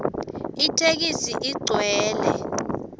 itheksthi igcwele